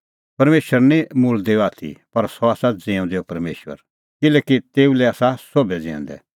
परमेशर निं मुल्दैओ आथी पर सह आसा ज़िऊंदैओ परमेशर किल्हैकि तेऊ लै आसा सोभै ज़िऊंदै